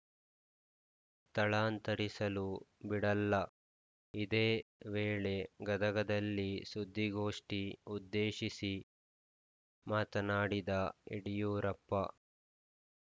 ಥಳಾಂತರಿಸಲು ಬಿಡಲ್ಲ ಇದೇ ವೇಳೆ ಗದಗದಲ್ಲಿ ಸುದ್ದಿಗೋಷ್ಠಿ ಉದ್ದೇಶಿಸಿ ಮಾತನಾಡಿದ ಯಡಿಯೂರಪ್ಪ